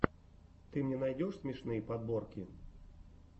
ты мне найдешь смешные подборки